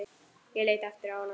Ég leit aftur á hana.